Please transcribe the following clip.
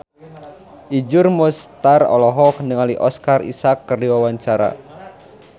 Iszur Muchtar olohok ningali Oscar Isaac keur diwawancara